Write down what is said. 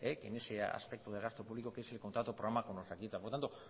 en ese aspecto de gasto público que es el contrato programa como